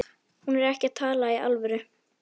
Hún er ekki að tala í alvöru.